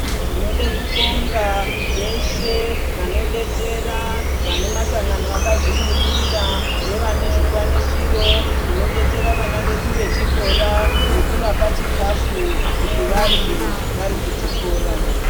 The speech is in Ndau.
Tinode kubonga veshe vanobetsera vane masangano akazvimiririra nevane zvikwanisiro, vanobetsera vana vedu vechikora nekuvapa chikafu kuti varye vari kuchikora.